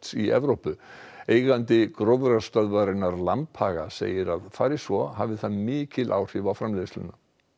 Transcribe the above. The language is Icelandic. í Evrópu eigandi gróðrarstöðvarinnar Lambhaga segir að fari svo hafi það mikil áhrif á framleiðsluna